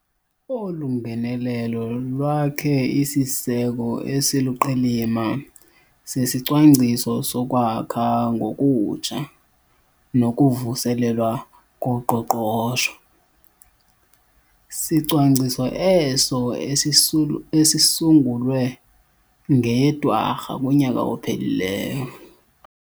Olu ngenelelo lwakhe isiseko esiluqilima seSicwangciso soKwakha ngoKutsha noKuvuselelwa koQoqosho. Sicwangciso eso esisu esisungulwe ngeyeDwarha yonyaka ophelileyo.